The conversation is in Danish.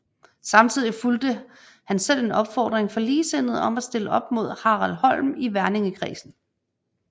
Samtidig fulgte han selv en opfordring fra ligesindede om at stille op mod Harald Holm i Verningekredsen